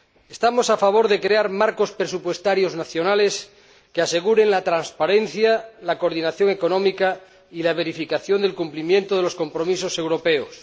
Estamos a favor de crear marcos presupuestarios nacionales que aseguren la transparencia, la coordinación económica y la verificación del cumplimiento de los compromisos europeos.